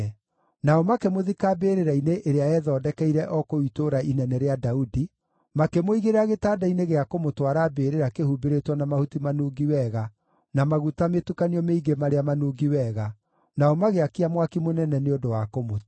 Nao makĩmũthika mbĩrĩra-inĩ ĩrĩa eethondekeire o kũu Itũũra inene rĩa Daudi, makĩmũigĩrĩra gĩtanda-inĩ gĩa kũmũtwara mbĩrĩra kĩhumbĩrĩtwo na mahuti manungi wega na maguta mĩtukanio mĩingĩ marĩa manungi wega, nao magĩakia mwaki mũnene nĩ ũndũ wa kũmũtĩĩa.